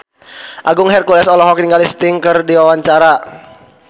Agung Hercules olohok ningali Sting keur diwawancara